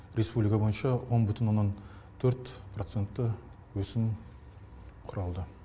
республика бойынша он бүтін оннан төрт процентті өсім құралды